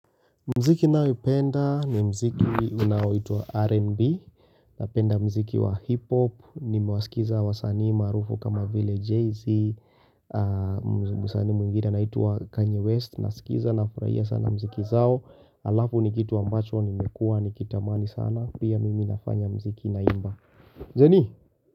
Mziki naoyoupenda ni mziki unaoitwa R&B Napenda mziki wa hip-hop Nimewasikiza wasanii maarufu kama vile Jay-Z msanii mwingine anaitwa Kanye West nasikiza nafurahia sana mziki zao Alafu ni kitu ambacho nimekua nikitamani sana Pia mimi nafanya mziki naimba Njeni.